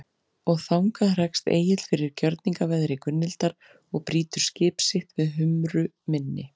Og þangað hrekst Egill fyrir gjörningaveðri Gunnhildar og brýtur skip sitt við Humru mynni.